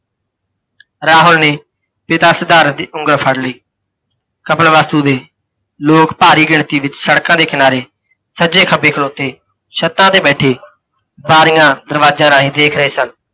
ਰਾਹੁਲ ਨੇ, ਪਿਤਾ ਸਿਧਾਰਥ ਦੀ ਉੰਗਲ ਫੜ੍ਹ ਲਈ। ਕਪਿਲਵਾਸੂ ਦੇ ਲੋਕ ਭਾਰੀ ਗਿਣਤੀ ਵਿੱਚ ਸੜ੍ਹਕਾਂ ਦੇ ਕਿਨਾਰੇ, ਸੱਜੇ ਖੱਬੇ ਖਲੋਤੇ, ਛੱਤਾਂ ਤੇ ਬੈਠੇ, ਬਾਰੀਆਂ ਦਰਵਾਜਿਆਂ ਰਾਹੀਂ ਦੇਖ ਰਹੇ ਸਨ।